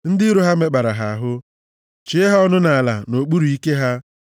Ndị iro ha mekpara ha ahụ chie ha ọnụ nʼala nʼokpuru ike ha.